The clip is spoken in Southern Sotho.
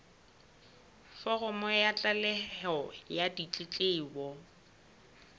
foromo ya tlaleho ya ditletlebo